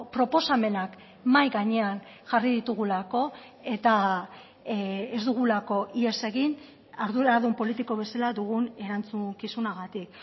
proposamenak mahai gainean jarri ditugulako eta ez dugulako ihes egin arduradun politiko bezala dugun erantzukizunagatik